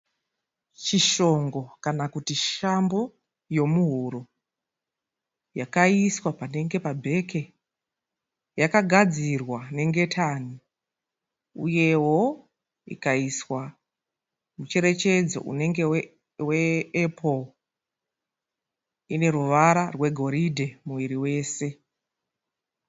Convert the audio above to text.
Chishongo kana kuti shambo yomuhuro. Yakaiswa panenge pa bhege, yakagadzirwa nengetani. Uyewo ikaiswa mucherechedzo unenge we epuro. Ine ruvara rwe goridhe muwiri wese.